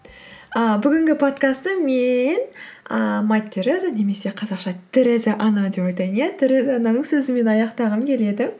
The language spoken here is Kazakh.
ы бүгінгі подкастты мен ыыы мать тереза немесе қазақша тереза ана деп айтайын иә тереза ананың сөзімен аяқтағым келеді